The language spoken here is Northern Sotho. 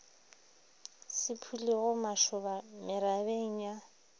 se phulego mašoba merabeng ya